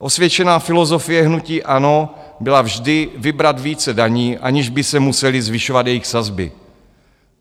Osvědčená filozofie hnutí ANO byla vždy vybrat více daní, aniž by se musely zvyšovat jejich sazby.